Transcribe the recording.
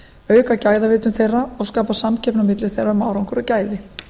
auka gæðavitund þeirra og skapa samkeppni á milli þeirra um árangur og gæði